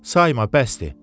"Sayma, bəsdir.